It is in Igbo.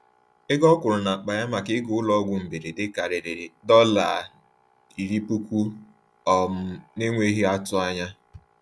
Ego ọ kwụrụ n’akpa ya maka ịga ụlọọgwụ mberede karịrị $10,000 um n’enweghị atụ anya.